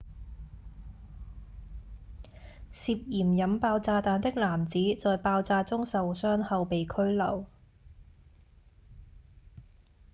涉嫌引爆炸彈的男子在爆炸中受傷後被拘留